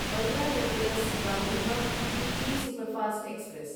Bandra terminus Gandhidham weekly superfast express